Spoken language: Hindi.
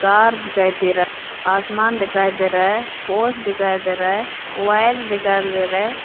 कार दिखाई दे रहा आसमान दिखाई दे रहा है पोस्ट दिखाई दे रहा है वायर दिखाई दे रहा है।